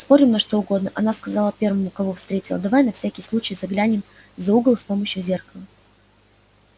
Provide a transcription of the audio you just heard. спорим на что угодно она сказала первому кого встретила давай на всякий случай заглянем за угол с помощью зеркала